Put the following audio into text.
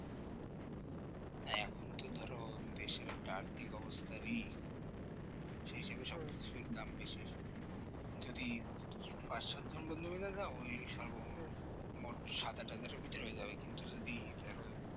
এখন তো ধরো যে দেশে একটা আর্থিক অবস্থার ই সেজন্য সব কিছুর দাম বেশি যদি পাঁচ সাত জন সাত আট হাজারের মধ্যে হয়ে যাবে কিন্তু যদি ধরো